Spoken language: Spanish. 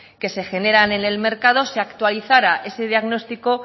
que se generan en el mercado se actualizara ese diagnóstico